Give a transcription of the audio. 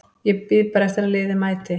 Bíð bara eftir að liðið mæti.